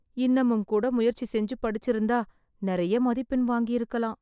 இன்னமும் கூட முயற்சி செஞ்சு படிச்சிருந்தா நிறைய மதிப்பெண் வாங்கிருக்கலாம்